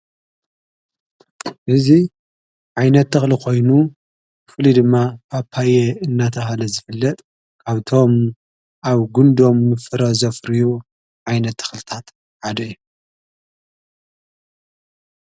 እዙይ ዓይነት ተኽሊ ኾይኑ ፍሊ ድማ ጳጳይየ እናተሃለ ዝፍለጥ ካብቶም ኣብ ጕንዶም ምፍረ ዘፍርዩ ኣይነት ተኽልታት ዓደ እዩ።